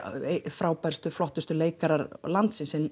frábærustu og flottustu leikarar landsins